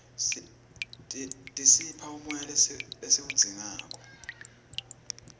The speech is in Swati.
tisipha umoya lesiwudzingako